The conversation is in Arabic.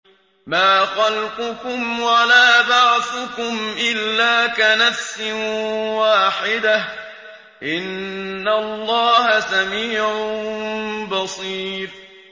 مَّا خَلْقُكُمْ وَلَا بَعْثُكُمْ إِلَّا كَنَفْسٍ وَاحِدَةٍ ۗ إِنَّ اللَّهَ سَمِيعٌ بَصِيرٌ